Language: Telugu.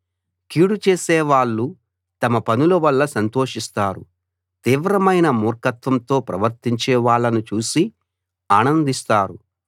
కీడు చేసేవాళ్ళు తమ పనుల వల్ల సంతోషిస్తారు తీవ్రమైన మూర్ఖత్వంతో ప్రవర్తించే వాళ్ళను చూసి ఆనందిస్తారు